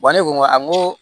ne ko n ko a n ko